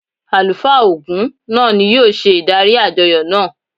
Àlùfáà Ògún náà ni yóò ṣe ìdarí àjọyọ̀ náà.